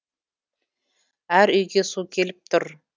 әр үйге су келіп тұр